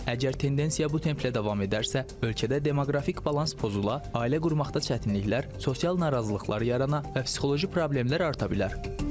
Əgər tendensiya bu templə davam edərsə, ölkədə demoqrafik balans pozula, ailə qurmaqda çətinliklər, sosial narazılıqlar yarana və psixoloji problemlər arta bilər.